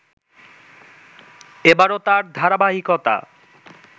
এবারো তার ধারাবাহিকতা